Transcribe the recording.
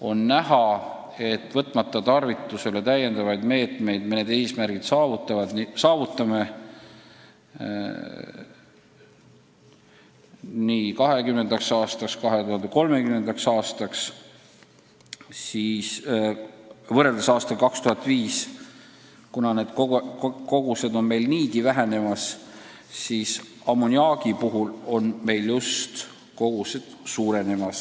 on näha, et me saavutame nii 2020. kui 2030. aasta eesmärgid ka täiendavaid meetmeid tarvitusele võtmata, kuna need kogused on meil niigi vähenemas, siis ammoniaagikogused suurenevad.